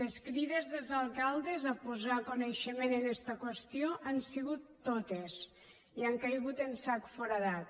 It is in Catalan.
les crides dels alcaldes a posar coneixement en esta qüestió hi han sigut totes i han caigut en sac foradat